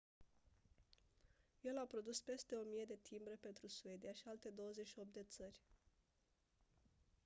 el a produs peste 1000 de timbre pentru suedia și alte 28 de țări